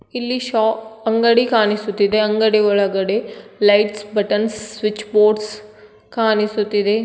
ಇಲ್ಲಿ ಶಾಪ್ ಅಂಗಡಿ ಕಾಣಿಸುತ್ತದೆ ಅಂಗಡಿ ಒಳಗಡೆ ಲೈಟ್ಸ್ ಬಟನ್ಸ್ ಸ್ವಿಚಬೋರ್ಡ್ಸ್ ಕಾಣಿಸುತ್ತಿದೆ.